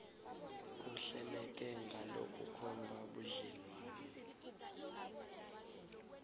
kuhleleke ngalokukhomba budlelwane